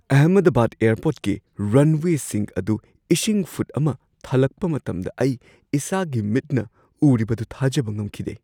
ꯑꯍꯃꯗꯕꯥꯗ ꯑꯦꯌꯔꯄꯣꯔꯠꯀꯤ ꯔꯟꯋꯦꯁꯤꯡ ꯑꯗꯨ ꯏꯁꯤꯡ ꯐꯨꯠ ꯑꯃ ꯊꯜꯂꯛꯄ ꯃꯇꯝꯗ ꯑꯩ ꯏꯁꯥꯒꯤ ꯃꯤꯠꯅ ꯎꯔꯤꯕꯗꯨ ꯊꯥꯖꯕ ꯉꯝꯈꯤꯗꯦ ꯫